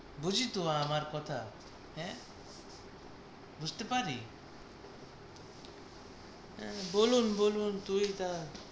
বুঝলি তো আমার কথা। আঁ বুঝতে পারি আহ বলুন বলুন তুই তার